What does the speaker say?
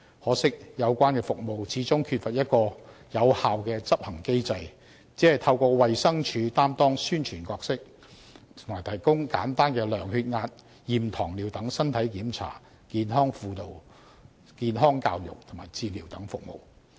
可惜的是，有關服務始終缺乏有效的執行機制，只透過衞生署擔當宣傳角色，並提供簡單的量血壓、驗糖尿等身體檢查、健康輔導、健康教育及治療等服務。